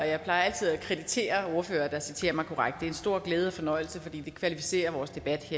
jeg plejer altid at kreditere ordførere der citerer mig korrekt det er en stor glæde og fornøjelse fordi det kvalificerer vores debat